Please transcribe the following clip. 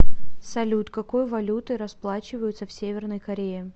салют какой валютой расплачиваются в северной корее